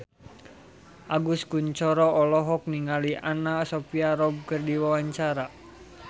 Agus Kuncoro olohok ningali Anna Sophia Robb keur diwawancara